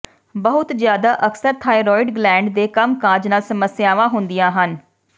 ਬਹੁਤ ਜ਼ਿਆਦਾ ਅਕਸਰ ਥਾਈਰੋਇਡ ਗਲੈਂਡ ਦੇ ਕੰਮਕਾਜ ਨਾਲ ਸਮੱਸਿਆਵਾਂ ਹੁੰਦੀਆਂ ਹਨ